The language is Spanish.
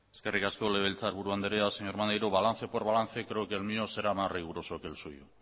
eskerrik asko legebiltzarburu andrea señor maneiro balance por balance creo que el mío será más riguroso que el suyo